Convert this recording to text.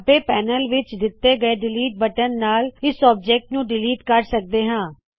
ਖੱਬੇ ਪੈਨਲ ਵਿੱਚ ਦਿੱਤੇ ਹੋਏ ਡਿਲੀਟ ਬਟਨ ਨਾਲ ਇਸ ਆਬਜੈਕਟ ਨੂ ਡਿਲੀਟ ਕਰ ਸਕਦੇ ਹਾ